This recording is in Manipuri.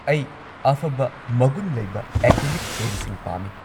ꯑꯩ ꯑꯐꯕ ꯃꯒꯨꯟ ꯂꯩꯕ ꯑꯦꯀ꯭ꯔꯤꯂꯤꯛ ꯄꯦꯟꯠꯁꯤꯡ ꯄꯥꯝꯃꯤ꯫